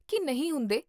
ਕੀ ਨਹੀਂ ਹੁੰਦੇ?